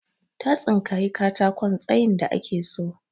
Ta tsinkayi katakon tsayin da ake so.